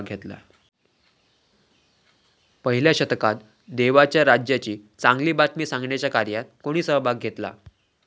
पहिल्या शतकात देवाच्या राज्याची चांगली बातमी सांगण्याच्या कार्यात कोणी सहभाग घेतला?